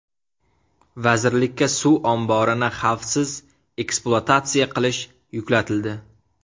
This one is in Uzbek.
Vazirlikka suv omborini xavfsiz ekspluatatsiya qilish yuklatildi.